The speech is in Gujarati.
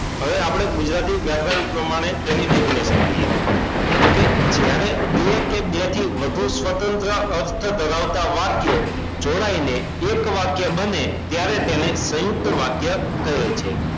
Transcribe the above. હવે આપણે ગુજરાતી વ્યાકરણ પ્રમાણે તેની definition જોઈએ તો કે જ્યારે બે કે બે થી વધુ સ્વતંત્ર અર્થ ધરાવતા વાક્યો જોડાઈને એક વાક્ય બને ત્યારે તેને સયુંકત વાક્ય કહેવાય છે